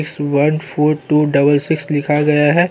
इसमें one four two double six लिखा गया है।